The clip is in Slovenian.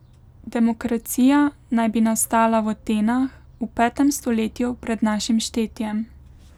Demokracija naj bi nastala v Atenah v petem stoletju pred našim štetjem.